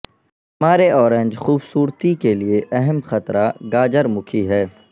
ہمارے اورنج خوبصورتی کے لئے اہم خطرہ گاجر مکھی ہے